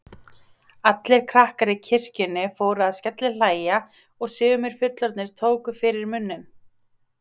Allir krakkar í kirkjunni fóru að skellihlæja og sumir fullorðnir tóku fyrir munninn.